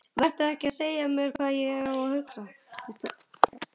Vertu ekki að segja mér hvað ég á að hugsa!